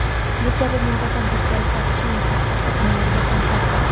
Bu kabi muntazam o‘zgarishlar tishning qattiq to‘qimalariga ham xosdir.